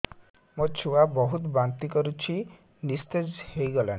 ମୋ ଛୁଆ ବହୁତ୍ ବାନ୍ତି କରୁଛି ନିସ୍ତେଜ ହେଇ ଗଲାନି